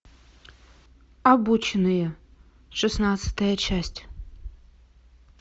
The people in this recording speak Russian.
обученные шестнадцатая часть